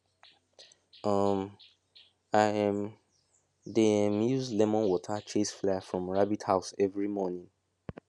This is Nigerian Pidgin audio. um i um dey um use lemon water chase fly from rabbit house every morning